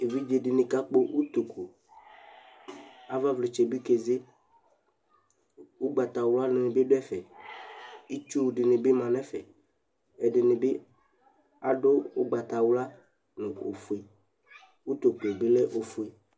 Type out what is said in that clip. Evɩdze dɩnɩ kakpɔ ʋtokʋ ava vlɩtsɛ bɩ keze ʋgbatawla nɩbɩ dʋ ɛfɛ ɩtsʋ dɩnɩ ma nɛfɛ ɛdɩ bɩ adʋ ʋgbatawla nʋ ofʋe